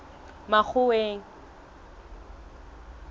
makgoweng